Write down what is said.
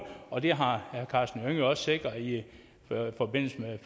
og det har herre karsten hønge jo også sikret i forbindelse